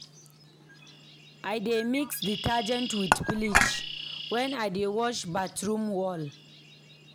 I dey mix detergent wit bleach wen I dey wash bathroom wall.